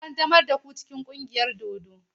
An ƙaddamar da ku cikin ƙungiyar dodo?